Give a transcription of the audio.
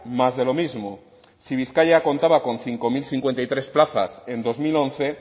más de lo mismo si bizkaia contaba con cinco mil cincuenta y tres plazas en dos mil once